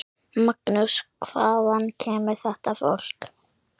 Magnús: Hvaðan kemur þetta fólk?